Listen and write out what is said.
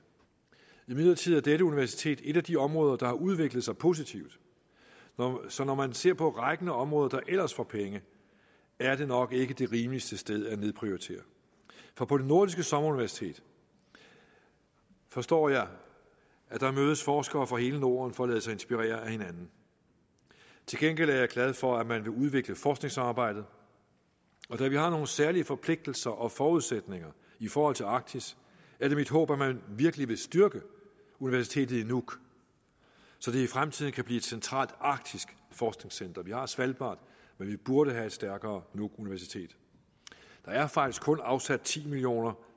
imidlertid er dette universitet et af de områder der har udviklet sig positivt så når man ser på rækken af områder der ellers får penge er det nok ikke det rimeligste sted at nedprioritere for på det nordiske sommeruniversitet forstår jeg mødes forskere fra hele norden for at lade sig inspirere af hinanden til gengæld er jeg glad for at man vil udvikle forskningssamarbejdet og da vi har nogle særlige forpligtelser og forudsætninger i forhold til arktis er det mit håb at man virkelig vil styrke universitetet i nuuk så det i fremtiden kan blive et centralt arktisk forskningscenter vi har svalbard men vi burde have et stærkere nuuk universitet der er faktisk kun afsat ti million